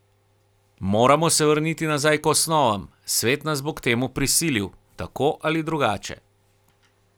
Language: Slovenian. Moramo se vrniti nazaj k osnovam, svet nas bo k temu prisilil, tako ali drugače.